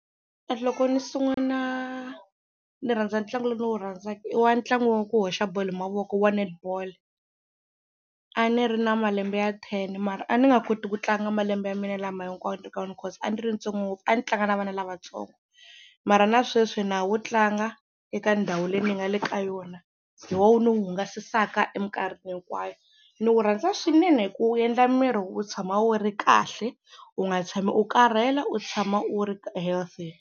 Loko ni sungula ni rhandza ntlangu lowu ndzi wu rhandzaka i wa ntlangu wa ku hoxa bolo hi mavoko wa netball a ni ri na malembe ya ten mara a ni nga koti ku tlanga malembe ya mina lama hinkwawo ni ri ka wona cause a ni ri ntsongo ngopfu a ni tlanga na vana lavatsongo, mara na sweswi na ha wu tlanga eka ndhawu leyi ni nga le ka yona hi woho wu ni hungasisaka hi minkarhi hinkwayo. Ni wu rhandza swinene hi ku wu endla miri wu tshama wu ri kahle u nga tshami u karhele u tshama u ri healthy.